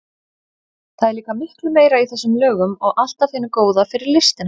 Það er líka miklu meira í þessum lögum og allt af hinu góða fyrir listina.